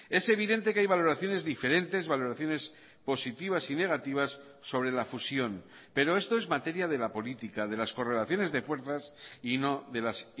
es evidente que hay valoraciones diferentes valoraciones positivas y negativas sobre la fusión pero esto es materia de la política de las correlaciones de fuerzas y no de las